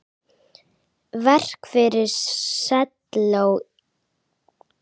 Verk fyrir selló og píanó.